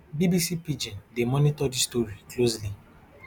bbc pidgin dey monitor dis story closely